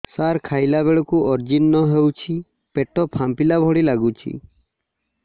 ସାର ଖାଇଲା ବେଳକୁ ଅଜିର୍ଣ ହେଉଛି ପେଟ ଫାମ୍ପିଲା ଭଳି ଲଗୁଛି